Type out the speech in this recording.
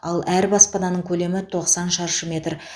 ал әр баспананың көлемі тоқсан шаршы метр